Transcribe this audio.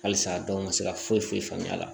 Halisa dɔw ka se ka foyi foyi faamuya